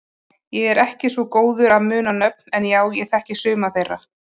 Ég er ekki svo góður að muna nöfn en já ég þekki suma þeirra.